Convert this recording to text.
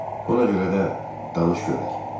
Ona görə də danış görək.